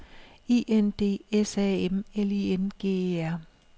I N D S A M L I N G E R